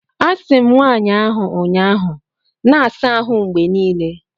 Asị m nwaanyị ahụ ụnyaahụ, na-asa ahụ mgbe niile!